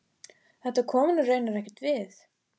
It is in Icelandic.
Þetta kom honum raunar ekkert við.